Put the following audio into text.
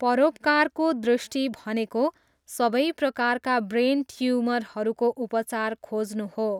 परोपकारको दृष्टि भनेको सबै प्रकारका ब्रेन ट्युमरहरूको उपचार खोज्नु हो।